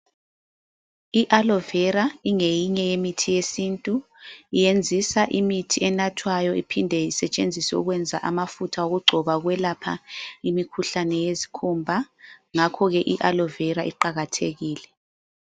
I aloe Vera ingeyinye yemithi yesintu yenzisa imithi enathwayo iphinde isetshenziswe ukwenza amafutha okugcoba ukwelapha imikhuhlane yezikhumba ,ngakho ke ialoe Vera iqakathekile